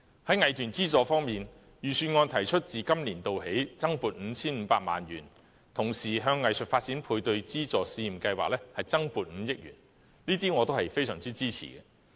在藝團資助方面，預算案提出自今年度起增撥 5,500 萬元，同時向藝術發展配對資助試驗計劃增撥5億元，這些措施我都非常支持。